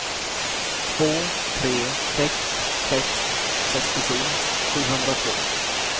två tre sex sex sextiosju sjuhundratvå